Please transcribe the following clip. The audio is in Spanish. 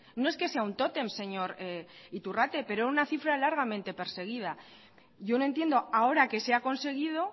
no es que sea un tótem señor iturrate pero una cifra largamente perseguida yo no entiendo ahora que se ha conseguido